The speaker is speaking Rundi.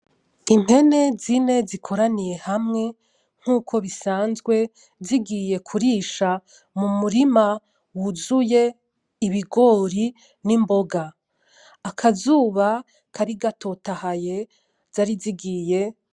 Impene zine zikoraniye hamwe nkuko bisanzwe, zigiye kurisha mu murima wuzuye ibigori nimboga. Akazuba kari gatotahaye zari zigiye.